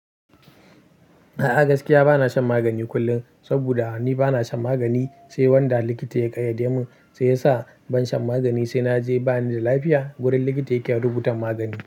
A'a gaskiya bana shan magani kullum, saboda ni bana shan magani sai wanda likita ya ƙayyade mun, sai yasa ban shan magani sai naje bani da lafiya wurin likita yake rubutan magani.